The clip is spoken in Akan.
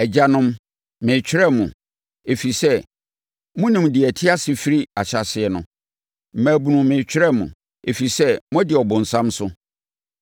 Agyanom, meretwerɛ mo, ɛfiri sɛ, monim deɛ ɔte ase firi ahyɛaseɛ no. Mmabunu, meretwerɛ mo, ɛfiri sɛ, moadi ɔbonsam so.